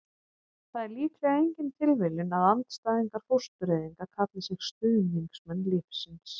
það er líklega engin tilviljun að andstæðingar fóstureyðinga kalli sig stuðningsmenn lífsins